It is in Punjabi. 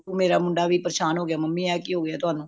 ਮੁੰਡਾ ਵੀ ਪਰਸ਼ਾਂਨ ਹੋਗਯਾ mummy ਏਹ ਕੀ ਹੋਗਯਾ ਤੁਹਾਨੂੰ